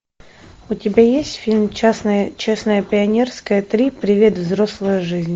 у тебя есть фильм честное пионерское три привет взрослая жизнь